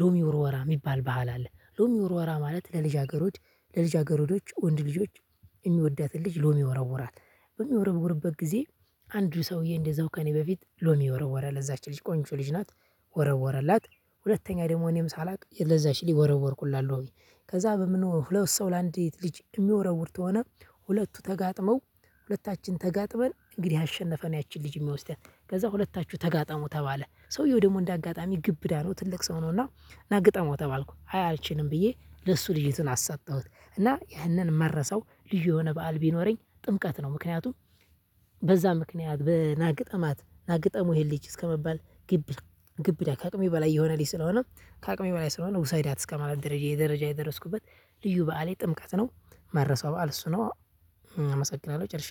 ሎሚ ውርወራ የሚባል ባህል አለ። ሎሚ ውርወራ ማለት ለልጃገረድ ለልጃገረዶች ወንድ ልጆች የሚወዳትን ልጅ ሎም ይወረውራል። በሚወረውርበት ጊዜ አንዱ ሰውዬ እንደዛው ከእኔ በፊት ሎሚ ወረወረ ለዛች ልጅ ቆንጆ ልጅ ናት ወረወረላት ሁለተኛ ደግሞ እኔም ሳላውቅ ለዛች ሊል ወረወርኩላት ሎሚ። ከዛ በምን ሁለቱ ሰው ለአንዲት ልጅ የሚወረውር ከሆነ ሁለቱ ተጋጥመው ሁለታችን ተጋጥመን እንግዲህ ያሸነፈ ነው ያቺን ልጅ የሚወስዳት። ከዛ ሁለታቹ ተጋጠሙ ተባለ። ሰውየው ደግሞ እንዳጋጣሚ ግብዳ ነው ትልቅ ሰው ነውና ና ግጠመው ተባልኩ። አይ አልችልም ብዬ ለሱ ልጅቱን አሰጠሁት። እና ይህንን የማረሳው ልዩ የሆነ በዓል ቢኖረኝ ጥምቀት ነው። ምክንያቱም በዛ ምክንያት በ ናግጠማት ና ግጠመው ይሄን ልጅ እስከመባል ግብ ግብዳ ከአቅሜ በላይ የሆነ ልጅ ስለሆነ ከአቅሜ በላይ ስለሆነ ውሰዳት እስከማለት ደረጃ የደረጃ የደረስኩበት ልዩ በዓሌ ጥምቀት ነው። ማረሳው በዓል እሱ ነው። አመሰግናለሁ ጨርሻ